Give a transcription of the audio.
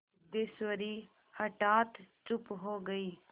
सिद्धेश्वरी हठात चुप हो गई